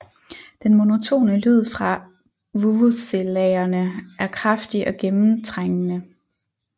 Den monotone lyd fra vuvuzelaerne er kraftig og gennemtrængende